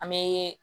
An bɛ